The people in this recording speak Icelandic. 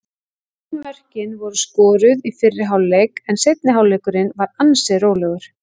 Öll mörkin voru skoruð í fyrri hálfleik en seinni hálfleikurinn var ansi rólegur.